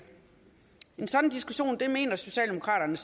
en sådan diskussion mener socialdemokraterne